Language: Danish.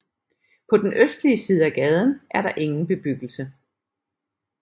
På den østlige side af gaden er der ingen bebyggelse